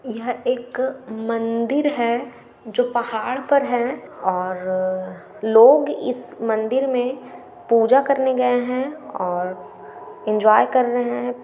यह एक मंदिर है जो पहाड़ पर है और लोग इस मंदिर में पूजा करने गए है और इन्जॉय कर रहे है।